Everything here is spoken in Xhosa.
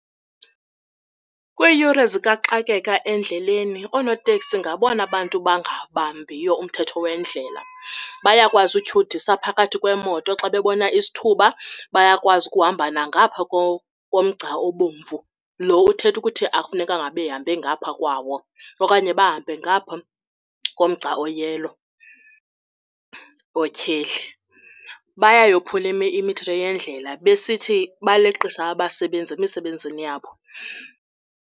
Kwiiyure zikaxakeka endleleni oonoteksi ngabona bantu bangabambiyo umthetho weendlela. Bayakwazi utyhudisa phakathi kweemoto xa bebona isithuba, bayakwazi ukuhamba nangapha komgca obomvu lo uthetha ukuthi akufunekanga behambe ngapha kwawo. Okanye bahambe ngapha ngomgca o-yellow, othyeli bayayophula imithetho yendlela besithi baleqisa abasebenzi emisebenzini yabo.